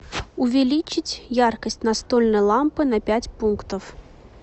увеличить яркость настольной лампы на пять пунктов